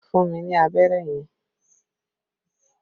Fún mi ní abẹ́rẹ́ yẹn!